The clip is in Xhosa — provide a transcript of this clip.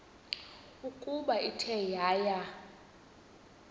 ukuba ithe yaya